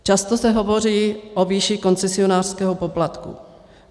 Často se hovoří o výši koncesionářského poplatku.